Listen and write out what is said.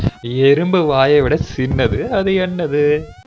எறும்பு வாயவிட சின்னது அது என்னது